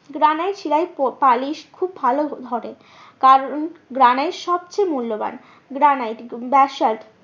granite শিলায় polish খুব ভালো ধরে কারণ গ্রানাইট সব চেয়ে মূল্যবান, গ্রানাইট ব্যাসল্ট